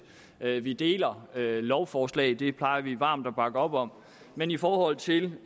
at vi deler lovforslag det plejer vi varmt at bakke op om men i forhold til